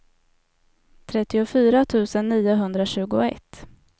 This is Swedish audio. trettiofyra tusen niohundratjugoett